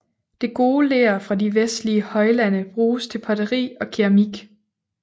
Det gode ler fra de vestlige højlande bruges til potteri og keramik